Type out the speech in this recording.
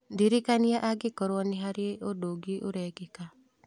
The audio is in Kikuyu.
Ndirikania angĩkorũo nĩ harĩ ũndũ ũngĩ ũrekĩka